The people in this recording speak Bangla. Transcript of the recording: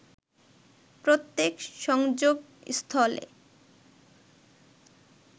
প্রত্যেক সংযোগস্থলে